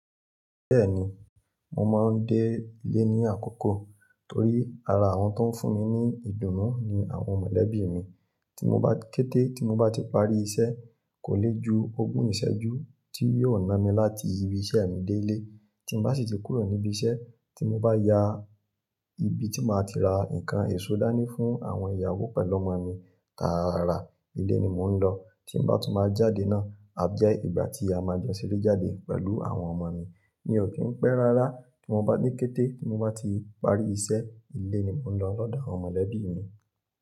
Bẹ́ẹ̀ni, mo máa ń dé ilé ní àkókò torí ara àwọn tó ń fún mi ní ìdùnnú ni àwọn mọ̀lẹ́bí mi. Kété tí mo bati parí iṣẹ́ kò lè ju ogún ìṣẹ́jú tí yóò ná mi láti ibi iṣẹ́ mi dé ilé. Tí mo bá sì ti kúrò níbi iṣẹ́, tí mo bá ya ibi tí máa ti ra nǹkan èso dání fún àwọn ìyàwó pẹ̀lú ọmọ mi, tààrà ilé ni mò ń lọ. Tí mo bá tún ma jáde náà, a jẹ́ ìgbà tí a ma jọ ń ṣeré jáde pẹ̀lú àwọn ọmọ mii, mi ò kì ń pẹ́ rárá iwọn bá ní kété, tí mo bá ti parí iṣẹ́, ilé ni mò ń lọ lọ́dọ̀ àwọn mọ̀lẹ́bí mi.